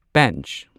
Pench